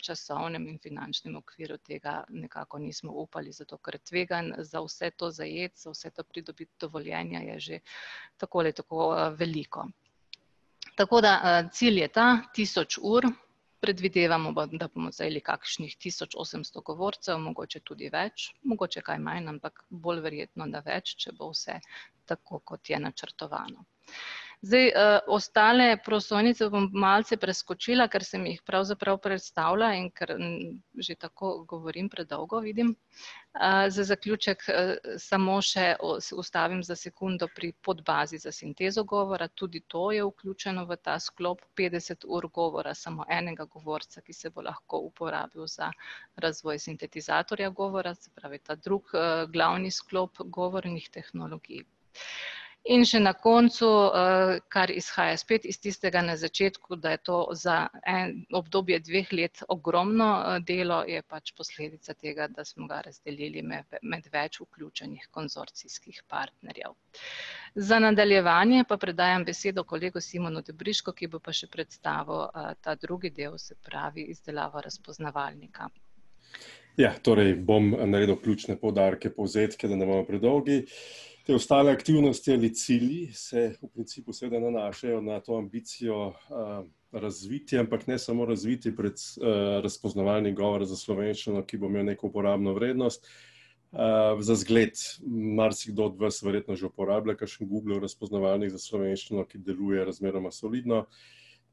časovnem in finančnem okvirju tega nekako nismo upali, zato ker tveganje za vse to zajeti, za vse to pridobiti dovoljenja je že tako ali tako veliko. Tako da, cilj je ta, tisoč ur, predvidevamo da bomo zajeli kakšnih tisoč osemsto govorcev, mogoče tudi več, mogoče kaj manj, ampak bolj verjetno, da kaj več, če bo vse tako, kot je načrtovano. Zdaj, ostale prosojnice bom malce preskočila, ker sem jih pravzaprav predstavila enkrat ... Že tako govorim predolgo, vidim. za zaključek samo še ustavim za sekundo pri podbazi za sintezo govora, tudi to je vključeno v ta sklop petdeset ur govora samo enega govorca, ki se bo lahko uporabil za razvoj sintetizatorja govora, se pravi ta drugi, glavni sklop govornih tehnologij. In še na koncu, kar izhaja spet iz tistega na začetku, da je to za obdobje dveh let ogromno, delo je pač posledica tega, da smo ga razdelili med več vključenih konzorcijskih partnerjev. Za nadaljevanje pa predajam besedo kolegu Simonu Dobrišku, ki pa še bo predstavil, ta drugi, se pravi izdelavo razpoznavalnika. Jah, torej bom naredil ključne poudarke, povzetke, da ne bomo predolgi. Te ostale aktivnosti ali cilji se v principu seveda nanašajo na to ambicijo, razvitja, ampak ne samo razvitja razpoznavanje govora za slovenščino, ki bo imel neko uporabno vrednost. Za zgled marsikdo od vas že pozna kakšen Googlov razpoznavalnik za slovenščino, ki deluje razmeroma solidno,